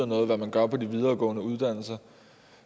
noget hvad man gør på de videregående uddannelser